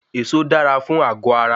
Èso dára fún àgọ ara